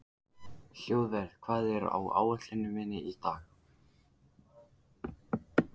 Hlöðver, hvað er á áætluninni minni í dag?